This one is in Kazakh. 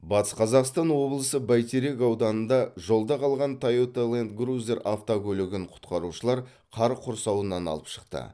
батыс қазақстан облысы бәйтерек ауданында жолда қалған тойота лэнд круйзер автокөлігін құтқарушылар қар құрсауынан алып шықты